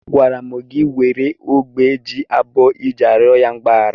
Agwara m gị were ogbe ji abụọ iji arịọ ya mgbaghara!